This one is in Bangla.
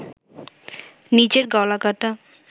নিজের গলা কাটা